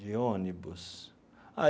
De ônibus?